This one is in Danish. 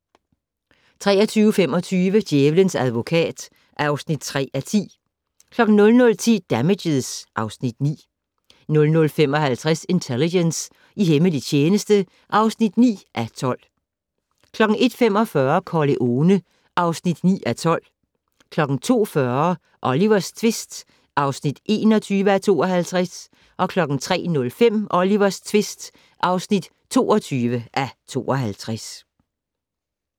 23:25: Djævelens advokat (3:10) 00:10: Damages (Afs. 9) 00:55: Intelligence - i hemmelig tjeneste (9:12) 01:45: Corleone (9:12) 02:40: Olivers tvist (21:52) 03:05: Olivers tvist (22:52)